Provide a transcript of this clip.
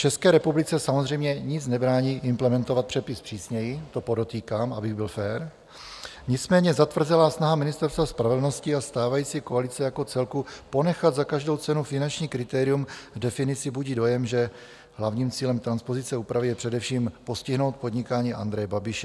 České republice samozřejmě nic nebrání implementovat předpis přísněji, to podotýkám, abych byl fér, nicméně zatvrzelá snaha Ministerstva spravedlnosti a stávající koalice jako celku ponechat za každou cenu finanční kritérium v definici budí dojem, že hlavním cílem transpozice úpravy je především postihnout podnikání Andreje Babiše.